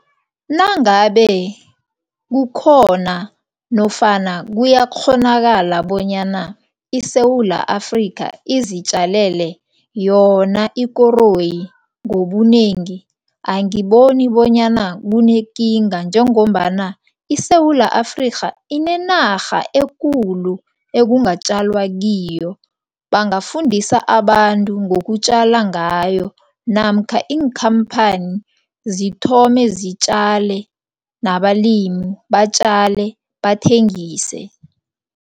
Nangabe kukhona nofana kuyakghonakala bonyana iSewula Afrikha izitjalele yona ikoroyi ngobunengi, angiboni bonyana kunekinga njengombana iSewula Afrika inenarha ekulu ekungatjalwa kiyo, bangafundisa abantu ngokutjala ngayo namkha iinkhamphani zithombe zitjale nabalimu batjale, bathengise.